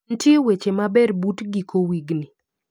Ntie weche maber but giko wigni?